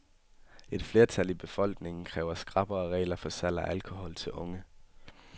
Et flertal i befolkningen kræver skrappere regler for salg af alkohol til unge.